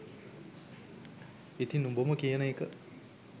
ඉතින් උඹම කියන එක